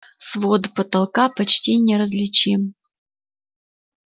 свод потолка почти неразличим